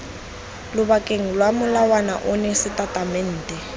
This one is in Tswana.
lobakeng lwa molawana ono setatamente